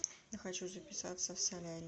я хочу записаться в солярий